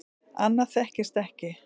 Annað þekktist ekki.